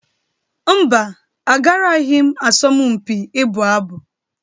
Mba, agaraghị m asọmpi ịbụ abụ.